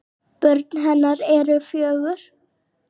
Börn hennar eru fjögur.